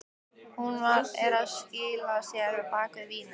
Hún er að skýla sér á bak við vínið.